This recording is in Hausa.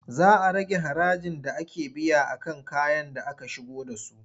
Za a rage harajin da ake biya a kan kayan da aka shigo da su.